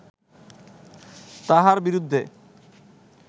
তাঁহার বিরুদ্ধে